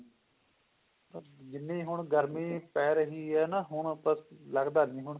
ਜਿੰਨੀ ਹੁਣ ਗਰਮੀ ਪੈ ਰਹੀ ਹੈ ਨਾ ਪਰ ਲਗਦਾ ਨਹੀਂ ਪਰ ਹੁਣ